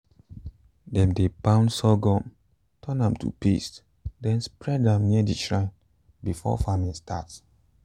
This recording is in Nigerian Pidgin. dem dey pound sorghum turn am to paste then spread am near the shrine before farming start.